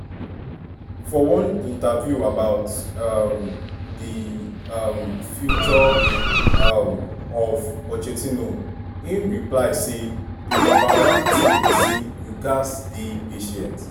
for one interview about um di um future um of pochettino im reply say: "di number one tin be say you gatz dey patient.